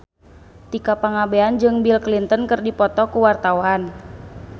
Tika Pangabean jeung Bill Clinton keur dipoto ku wartawan